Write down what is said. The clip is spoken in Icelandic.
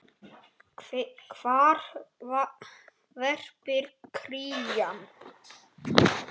Hvar verpir krían?